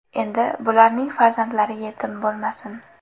Endi bularning farzandlari yetim bo‘lmasin.